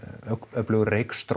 öflugur